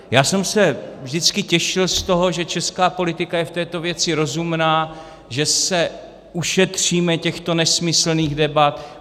Já jsem se vždycky těšil z toho, že česká politika je v této věci rozumná, že se ušetříme těchto nesmyslných debat.